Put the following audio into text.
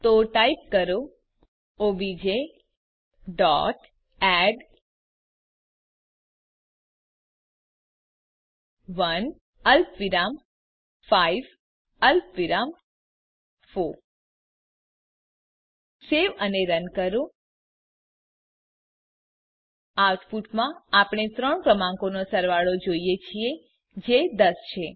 તો ટાઈપ કરો O B J dot add 1 અલ્પવિરામ 5 અલ્પવિરામ 4 સેવ અને રન કરો આઉટપુટમાં આપણે ત્રણ ક્રમાંકોનો સરવાળો જોઈએ છીએ જે 10 છે